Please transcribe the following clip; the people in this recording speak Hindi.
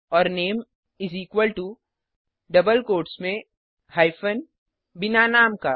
और name is equal to double quotes में हाइपेन बिना नाम का